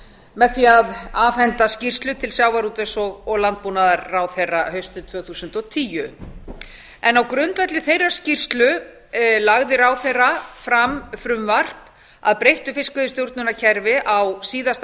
með því að afhenda skýrslu til sjávarútvegs og landbúnaðarráðherra haustið tvö þúsund og tíu á grundvelli þeirrar skýrslu lagði ráðherra fram frumvarp að breyttu fiskveiðistjórnarkerfi á síðasta